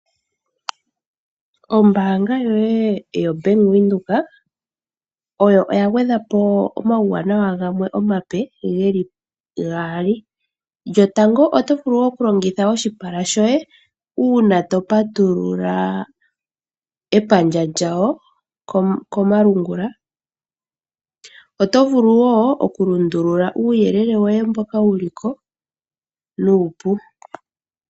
Ombaanga yoye ya Venduka oya gwedhapo omawuwanawa gamwe omape geli gaali . 1.otovulu oku longitha oshipala shoye uuna to patulula epandja lyawo komalungula. 2. Otovulu woo oku lundulula nuupu